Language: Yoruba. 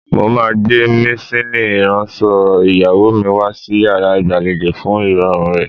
Mo máa gbé maṣíìnì ìránṣọ ìyàwó mi wá sí yàrá ìgbàlejò fún ìrọ̀rùn rẹ̀.